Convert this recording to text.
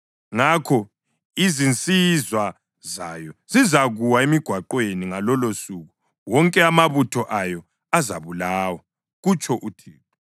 Ngakho izinsizwa zayo zizakuwa emigwaqweni; ngalolosuku wonke amabutho ayo azabulawa,” kutsho uThixo.